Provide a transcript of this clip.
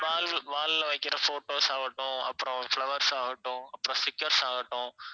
wall~ wall ல வைக்கிற photos ஆகட்டும் அப்புறம் flowers ஆகட்டும் அப்புறம் stickers ஆகட்டும்